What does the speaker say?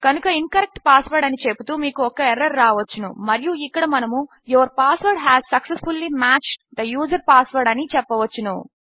కనుక incorrect password అని చెపుతూ మీకు ఒక ఎర్రర్ రావచ్చును మరియు ఇక్కడ మనము your password has successfully matched the user password అని చెప్పవచ్చును